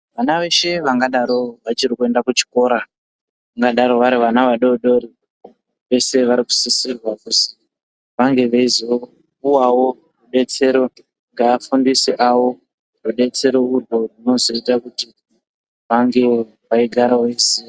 Vana veshe vangadaro vachiri kuenda kuchikora vangadaro vari vana vadodori vese varikusisirwa kuzi vange veizopuwawo rudetsero ngeafundisi awo rudetsero urwu rwunozoita kuti vange veigara veiziya.